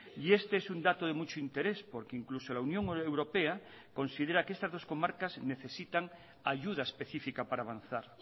y este es un dato de mucho interés porque incluso la unión europea considera que estas dos comarcas necesitan ayuda específica para avanzar